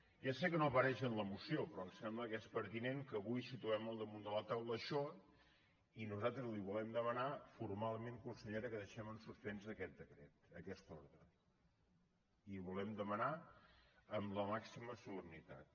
ja sé que no apareix en la moció però em sembla que és pertinent que avui situem damunt de la taula això i nosaltres li volem demanar formalment consellera que deixem en suspens aquest decret aquesta ordre li ho volem demanar amb la màxima solemnitat